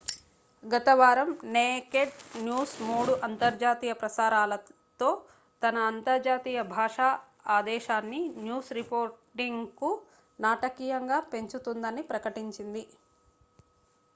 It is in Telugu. గత వారం నేకెడ్ న్యూస్ మూడు అంతర్జాతీయ ప్రసారాలతో తన అంతర్జాతీయ భాషా ఆదేశాన్ని న్యూస్ రిపోర్టింగ్కు నాటకీయంగా పెంచుతుందని ప్రకటించింది